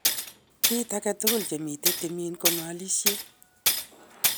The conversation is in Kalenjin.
Kit angetugul chemiten timin ko ngalishet.